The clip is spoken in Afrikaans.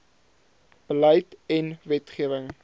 beleid en wetgewing